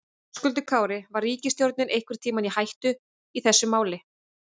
Höskuldur Kári: Var ríkisstjórnin einhvern tímann í hættu í þessu máli?